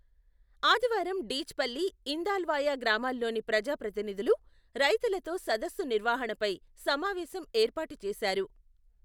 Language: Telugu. ఆదివారం డీచ్ పల్లి, ఇందాల్వాయ, గ్రామాల్లోని ప్రజాప్రతినిధులు, రైతులతో సదస్సు నిర్వహణపై సమావేశం ఏర్పాటు చేశారు.